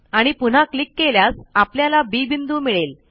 आणि पुन्हा क्लिक केल्यास आपल्याला बी बिंदू मिळेल